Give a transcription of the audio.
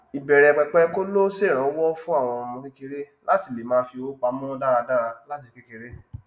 ìbẹrẹpẹpẹ kóló sẹrànwọ fún àwọn ọmọ kékeré láti lè máa fí owó pamọ dáradára láti kékeré